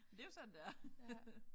Det jo sådan det er